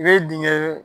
I bɛ dingɛ